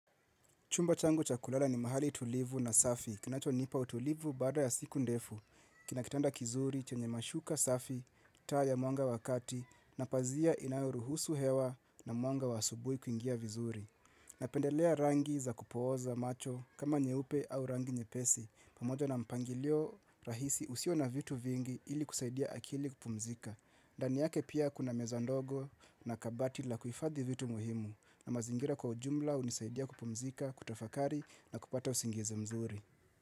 Chumba changu chakulala ni mahali tulivu na safi, kinacho nipa utulivu baada ya siku ndefu, kinakitanda kizuri chenye mashuka safi, taa ya mwanga wakati, napazia inayuru husu hewa na mwanga wa asubui kuingia vizuri. Napendelea rangi za kupooza macho kama nye upe au rangi nye pesi, pamoja na mpangilio rahisi usio na vitu vingi ili kusaidia akili kupumzika. Ndani yake pia kuna meza ndogo na kabati la kuifadhi vitu muhimu na mazingira kwa ujumla unisaidia kupumzika, kutafakari na kupata usingizi mzuri.